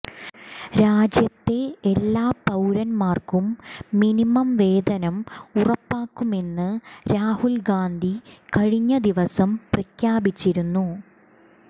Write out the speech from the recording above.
രാജ്യത്തെ എല്ലാ പൌരന്മാർക്കും മിനിമം വേതനം ഉറപ്പാക്കുമെന്ന് രാഹുൽ ഗാന്ധി കഴിഞ്ഞ ദിവസം പ്രഖ്യാപിച്ചിരുന്നു